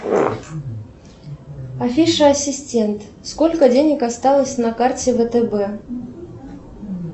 афиша ассистент сколько денег осталось на карте втб